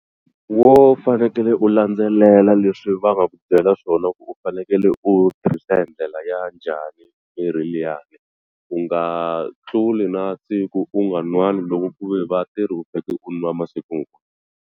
Wo fanekele u landzelela leswi va nga ku byela swona ku u fanekele u tirhisa hi ndlela ya njhani mirhi liya u nga tluli na siku u nga n'wani loko ku ve va te ri u u nwa masiku.